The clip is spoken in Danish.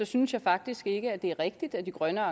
synes jeg faktisk ikke det er rigtigt at de grønne